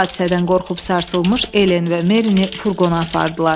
Bu hadisədən qorxub sarsılmış Elen və Merini furqona apardılar.